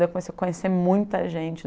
Daí eu comecei a conhecer muita gente.